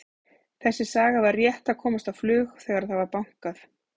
Þessi saga var rétt að komast á flug þegar það var bankað.